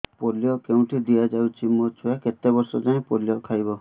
polio କେଉଁଠି ଦିଆଯାଉଛି ମୋ ଛୁଆ କେତେ ବର୍ଷ ଯାଏଁ ପୋଲିଓ ଖାଇବ